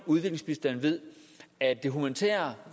udviklingsbistand ved at den humanitære